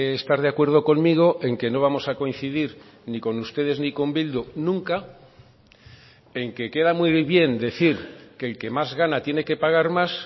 estar de acuerdo conmigo en que no vamos a coincidir ni con ustedes ni con bildu nunca en que queda muy bien decir que el que más gana tiene que pagar más